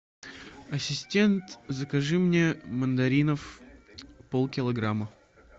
ассистент закажи мне мандаринов пол килограмма